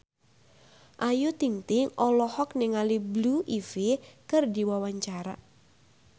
Ayu Ting-ting olohok ningali Blue Ivy keur diwawancara